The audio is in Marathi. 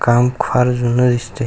काम फार जुन दिसतय.